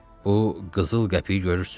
Bu qızıl qəpiyi görürsüz?